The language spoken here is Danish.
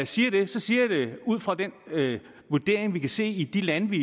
siger det siger jeg det ud fra den vurdering vi kan se i de lande